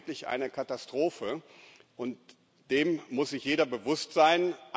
Wir haben hier wirklich eine Katastrophe und dessen muss sich jeder bewusst sein.